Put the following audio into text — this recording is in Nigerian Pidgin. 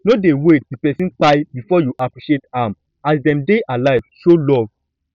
no dey wait till person kpai before you appreciate am as dem dey alive show dem love